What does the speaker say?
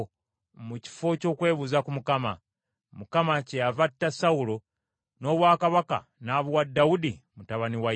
mu kifo ky’okwebuuza ku Mukama . Mukama kyeyava atta Sawulo n’obwakabaka n’abuwa Dawudi mutabani wa Yese.